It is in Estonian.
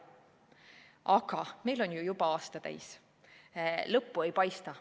Aga meil on juba aasta täis ja lõppu ei paista.